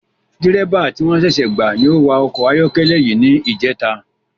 Dírẹ́bà ti wọ́n ṣẹṣẹ gbà ni o wa ọkọ̀ ayọ́kẹ́lẹ́ ni ijeta